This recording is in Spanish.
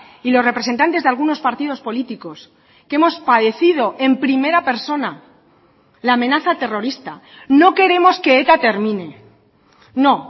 y los representantes de algunos partidos políticos que hemos padecido en primera persona la amenaza terrorista no queremos que eta termine no